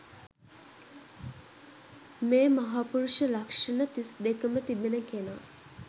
මේ මහපුරුෂ ලක්ෂණ තිස්දෙකම තිබෙන කෙනා